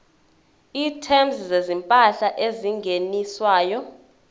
items zezimpahla ezingeniswayo